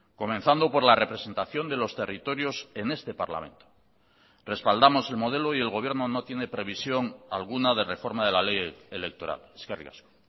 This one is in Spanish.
comenzando por la representación de los territorios en este parlamento respaldamos el modelo y el gobierno no tiene previsión alguna de reforma de la ley electoral eskerrik asko